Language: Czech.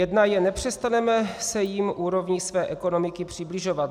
Jedna je: Nepřestaneme se jim úrovní své ekonomiky přibližovat.